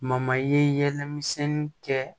ye yɛlɛ misɛnni kɛ